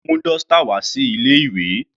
Njẹ́ o mú dọ́stà wá sí ilé ìwé?